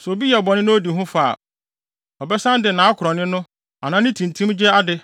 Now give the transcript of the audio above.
sɛ obi yɛ bɔne na odi ho fɔ a, ɔbɛsan de ne akorɔnne no anaa ne tintimgye ade